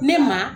Ne ma